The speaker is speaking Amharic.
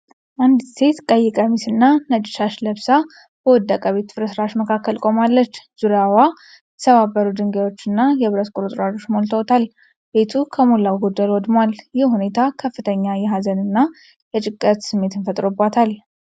አንዲት ሴት ቀይ ቀሚስና ነጭ ሻሽ ለብሳ በወደቀ ቤት ፍርስራሽ መሀል ቆማለች። ዙሪያዋ የተሰባበሩ ድንጋዮችና የብረት ቁርጥራጮች ሞልተዋል፤ ቤቱ ከሞላ ጎደል ወድሟል። ይህ ሁኔታ ከፍተኛ የሐዘንና የጭንቀት ስሜትን ፈጥሮባታል።